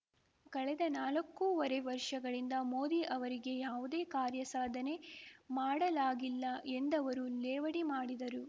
ಕಳೆದ ನಾಲ್ಕೂವರೆ ವರ್ಷಗಳಿಂದ ಮೋದಿ ಅವರಿಗೆ ಯಾವುದೇ ಕಾರ್ಯ ಸಾಧನೆ ಮಾಡಲಾಗಿಲ್ಲ ಎಂದವರು ಲೇವಡಿ ಮಾಡಿದರು